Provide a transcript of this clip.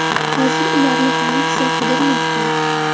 Hozir ularni politsiya qidirmoqda.